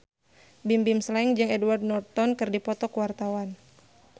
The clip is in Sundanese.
Bimbim Slank jeung Edward Norton keur dipoto ku wartawan